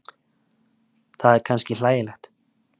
Það er kannski hlægilegt.